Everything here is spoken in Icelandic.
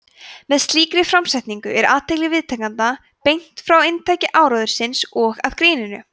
með slíkri framsetningu er athygli viðtakenda beint frá inntaki áróðursins og að gríninu